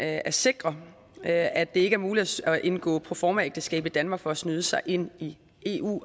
at sikre at ikke er muligt at indgå proformaægteskab i danmark for at snyde sig ind i eu